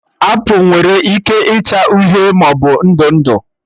Apụl nwere ike ịcha uhie maọbụ ndụ ndụ